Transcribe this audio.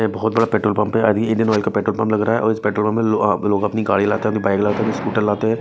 ये बहोत बड़ा पेट्रोल पंप है इंडियन ऑयल का पेट्रोल पंप लग रहा है और इस पेट्रोल पंप पर लो लोग अपनी गाड़ी लाते है अपनी बाइक लाते है अपनी स्कूटर लाते है।